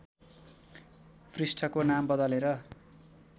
पृष्ठको नाम बदलेर